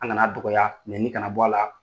An kana dɔgɔya nɛni kana bɔ a la